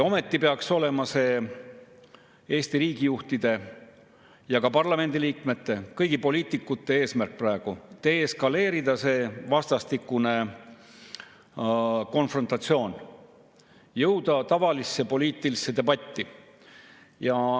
Ometi peaks see olema praegu Eesti riigijuhtide ja parlamendi liikmete, kõigi poliitikute eesmärk: deeskaleerida see vastastikune konfrontatsioon, jõuda tavalisse poliitilisse debatti.